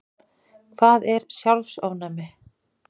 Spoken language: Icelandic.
Hvað er sjálfsofnæmi?